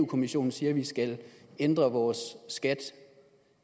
kommissionen siger at vi skal ændre vores skat